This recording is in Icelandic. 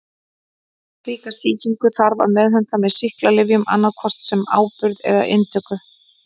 Slíka sýkingu þarf að meðhöndla með sýklalyfjum annað hvort sem áburð eða til inntöku.